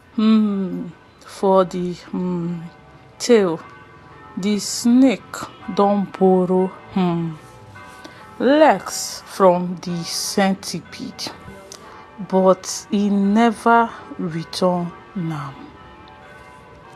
um for de um tale de snake don borrow um legs from de centipede but e never return am